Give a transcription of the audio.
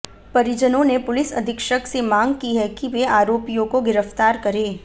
परिजनों ने पुलिस अधीक्षक से मांग की है कि वे आरोपियों को गिरफ्तार करें